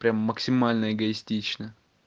прям максимальная эгоистично